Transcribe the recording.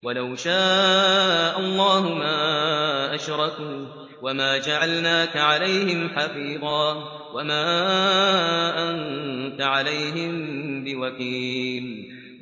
وَلَوْ شَاءَ اللَّهُ مَا أَشْرَكُوا ۗ وَمَا جَعَلْنَاكَ عَلَيْهِمْ حَفِيظًا ۖ وَمَا أَنتَ عَلَيْهِم بِوَكِيلٍ